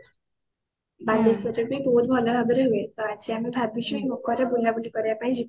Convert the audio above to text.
ବାଲେଶ୍ଵର ରେ ବି ବହୁତ ଭଲ ଭାବ ରେ ହୁଏ ତ ଆଜି ଆମେ ଭବିଛୁ ମକର ରେ ବୁଲା ବୁଲି କରିବା ପାଇଁ ଯିବୁ।